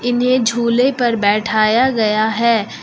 इन्हें झूले पर बैठाया गया है।